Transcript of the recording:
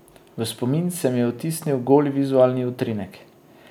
V spomin se mi je vtisnil goli vizualni utrinek.